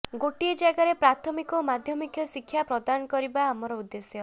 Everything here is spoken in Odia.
ଗୋଟିଏ ଜାଗାରେ ପ୍ରାଥମିକ ଓ ମାଧ୍ୟମିକ ଶିକ୍ଷା ପ୍ରଦାନ କରିବା ଆମର ଉଦ୍ଦେଶ୍ୟ